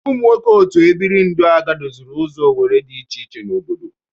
Ụmụ nwoke otu ebiri ndụaga doziri ụzọ owere dị iche iche n'obodo.